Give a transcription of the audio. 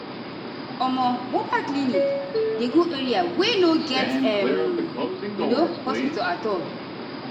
omo mobile clinic dey go area wey no get um you know hospital at all.